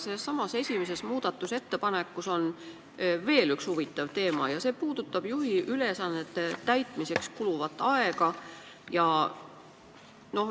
Sellessamas esimeses muudatusettepanekus on veel üks huvitav teema ja see puudutab juhiülesannete täitmiseks kuluvat aega.